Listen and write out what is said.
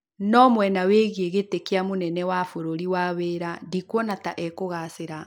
No mwena wĩgiĩ giti kia mũnene wa vũrũri wa wĩra wa ndikwona ta ekũgaacĩra